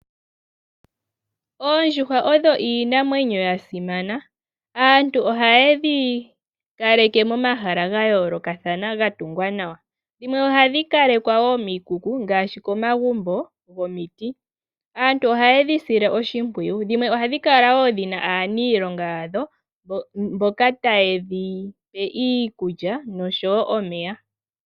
Oondjuhwa odho iinamwenyo yasimana, aantu oyayedhi kaleke momahala gayolokathana gatungwa nawa. Dhimwe ohadhi kalekwa wo miikuku ngaashi komagumbo gomiiti. Aantu oha yedhi sile wo oshimpwiyu. Dhimwe ohadhi kala wo dhina aanilonga mboka taye dhipe iikulya noshowo omeya.